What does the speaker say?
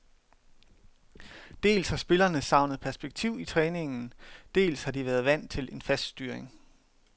Dels har spillerne savnet perspektiv i træningen, dels har de været vant til en fast styring.